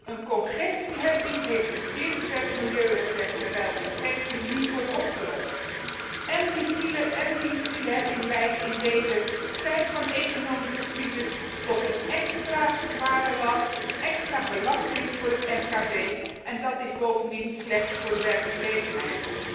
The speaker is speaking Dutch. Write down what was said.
Een congestieheffing heeft een zeer beperkt milieueffect, terwijl congestie niet wordt opgelost én de fileheffing leidt in deze tijd van economische crisis tot een extra zware last, een extra belasting voor het mkb, en dat is bovendien slecht voor de werkgelegenheid.